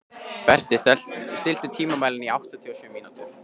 Berti, stilltu tímamælinn á áttatíu og sjö mínútur.